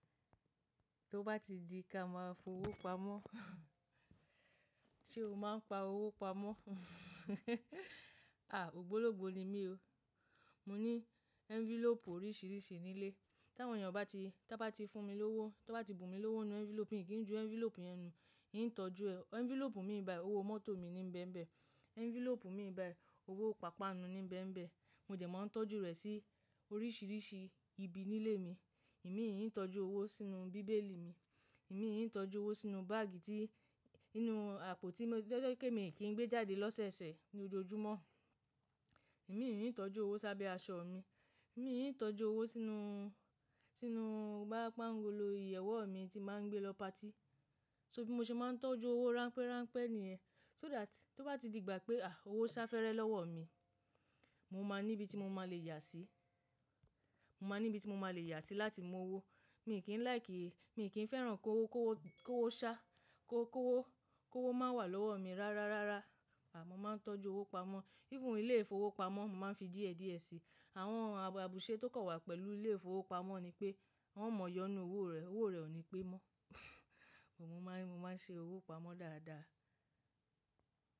Tó bá ti di ká máa f’owó pamọ́. Ṣé o máa ń pa owó pamọ́? À, ògbólógbò ni mí o. Mo ní envelope oríṣìíríṣìí nílé. Tí àwọn ènìyàn bá ti, bá ti fún mi lówó, bá ti bù mí lówó nínú envelope, mi kì í ju envelope yẹn nù. Èní tọ́jú ẹ. Envelope mi ní biyi, owó mọ́tò mi ní bẹ́ẹ̀ bẹ́ẹ̀. Envelope mi ní biyi, owó pàápàá nu ní bẹ́ẹ̀ bẹ́ẹ̀. Mo dẹ̀ máa ń tọ́jú rẹ̀ sí oríṣìíríṣìí ibi nílé mi. Èmi í tọ́jú owó sínú bíbélì mi. Èmi kì í tọ́jú owó sínú báàgì tí, nínú àpò tí mo, jẹ́ kí èmi kì í gbé jáde lọ́sẹ̀sẹ̀ ní ojoojúmọ́. Èmi ì tọ́jú owó sábẹ́ aṣọ mi. Èmi í tọ́jú owó sínú, sínú boya pángolo ìyẹ̀wò mi tí màá ń gbé lọ pati. So, bí mo ṣe máa ń tọ́jú owó ránpẹ́ránpẹ́ nìyẹn. Só that tí, tó bá ti di ìgbà pé à, owó sá fẹ́rẹ́ lọ́wọ́ mi, mo máa níbi tí mo máa le yà sí. Mo máa níbi tí mo máa le yà sí láti mú owó. Mi kì í líke, mi kì í fẹ́ràn kó owó, kó owó, kó owó ṣáa, kó, kó owó, kó owó máa wà lọ́wọ́ mi rárá rárá. Àì, mo máa ń tọ́jú owó pamọ́. Even ilé ìfowópamọ́, mo máa ń fi díẹ̀díẹ̀ síi. Àwọn àbùṣe tó kàn wà pẹ̀lú ilé ìfowópamọ́ ni pé wọ́n ò mọyọ́nú owó rẹ̀, owó rẹ̀ ò ní pé mọ́. Mo máa ń, mo máa ń ṣe owó pamọ́ dáadáa.